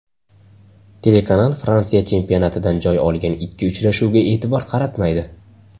Telekanal Fransiya chempionatidan joy olgan ikki uchrashuvga e’tibor qaratmaydi.